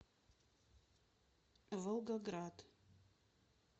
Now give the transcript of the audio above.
волгоград